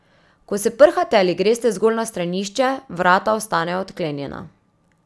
Ko se prhate ali greste zgolj na stranišče, vrata ostanejo odklenjena.